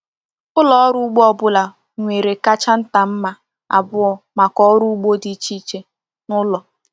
Ụlọ ọrụ ugbo ọ bụla nwere kacha nta mma abụọ maka ọrụ ugbo dị iche iche n’ụlọ.